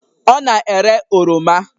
Ọ na-ere oroma